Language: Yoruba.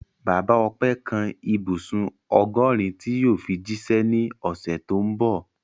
Bàbá Ọpẹ́ kan ibùsùn ọgọ́rin tí yóò fi jíṣẹ́ ní ọ̀sẹ̀ tó ń bọ̀.